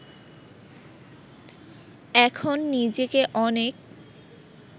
এখন নিজেকে অনেক